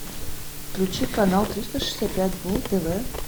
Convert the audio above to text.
включи канал триста шестьдесят пять дней тв